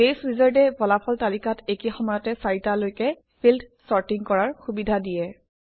বাছে Wizard এ ফলাফল তালিকাত একে সময়ত চাৰিটালৈকে ফিল্ড চৰ্টিং কৰাৰ সুবিধা দিয়ে